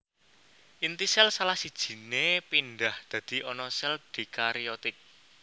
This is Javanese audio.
Inti sél salah sijine pindhah dadi ana sel dikariotik